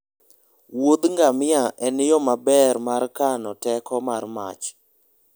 Wuodh ngamia en yo maber mar kano teko mar mach.